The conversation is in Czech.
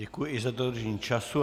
Děkuji i za dodržení času.